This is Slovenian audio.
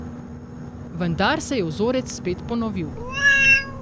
Vendar se je vzorec spet ponovil.